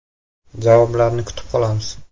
Javoblarni kutib qolamiz.